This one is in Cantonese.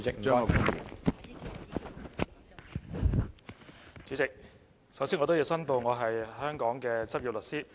主席，首先我要申報我是香港的執業律師。